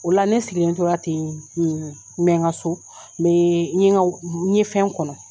O la ne sigilen tora ten n mɛ ka so, n me n ɲe n ɲe fɛn kɔnɔ.